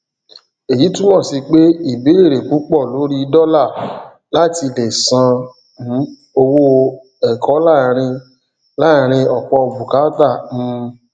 èyí túmọ sí pé ìbéèrè púpọ lórí dọlà láti lè san um owó ẹkọ láàárín láàárín ọpọ bùkátà um